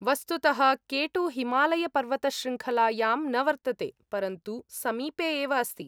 वस्तुतः केटु हिमालयपर्वतशृङ्खलायां न वर्तते, परन्तु समीपे एव अस्ति।